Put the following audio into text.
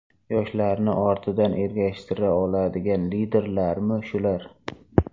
Yoshlarni ortidan ergashtira oladigan liderlarmi shular?